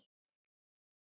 Hannes og Björn.